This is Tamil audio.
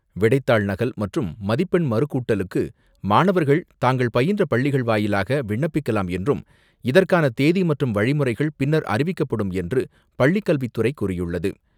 விடைத்தாள் நகல் மற்றும் மதிப்பெண் மறுக்கூட்டலுக்கு மாணவர்கள் தாங்கள் பயின்ற பள்ளிகள் வாயிலாக விண்ணப்பிக்கலாம் என்றும், இதற்கான தேதி மற்றும் வழிமுறைகள் பின்னர் அறிவிக்கப்படும் என்று பள்ளிக் கல்வித்துறை கூறியுள்ளது.